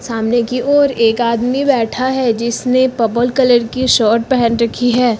सामने की ओर एक आदमी बैठा है जिसने पपल कलर की शर्ट पेहन रखी है।